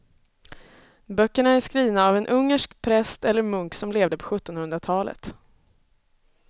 Böckerna är skrivna av en ungersk präst eller munk som levde på sjuttonhundratalet.